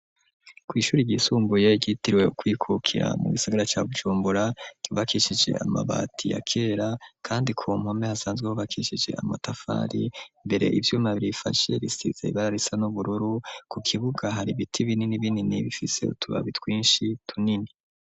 Kw'ishure ryisumbuye ryitiriwe kwikukira, mu gisigara ca Bujumbura, ryubakishije amabati ya kera kandi ku mpome hasanzwe hubakishije amatafari, mbere ivyuma birifashe bisize ibara risa n'ubururu, ku kibuga hari ibiti binini binini bifise utubabi twinshi tunini.